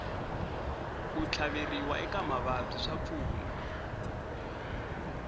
ku tlhaveriwa eka mavabyi swa pfuna